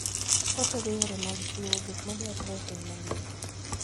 Otego yore mag chiwo gik madwarore e piny mangima.